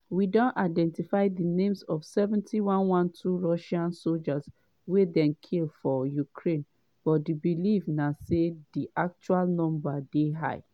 we don identify di names of 70112 russian soldiers wey dem kill for ukraine but di believe na say di actual number dey higher.